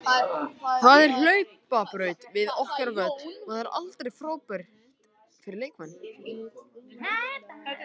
Það er hlaupabraut við okkar völl og það er aldrei frábært fyrir leikmenn.